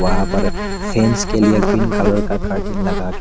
वहां पर फ्रेंड्स के लिए ग्रीन कलर का कर्टन लगा के--